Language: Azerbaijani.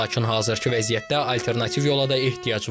Lakin hazırkı vəziyyətdə alternativ yola da ehtiyac var.